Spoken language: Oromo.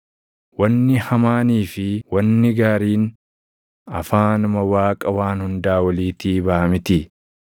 Wanni hamaanii fi wanni gaariin afaanuma Waaqa Waan Hundaa Oliitii baʼa mitii?